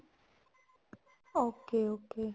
okay okay